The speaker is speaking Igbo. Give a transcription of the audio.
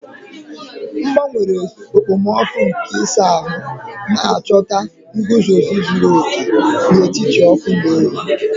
M gbanwere okpomọkụ nke ịsa ahụ, na-achọta nguzozi zuru oke n'etiti ọkụ na oyi.